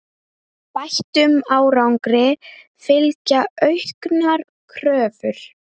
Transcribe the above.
Bættum árangri fylgja auknar kröfur.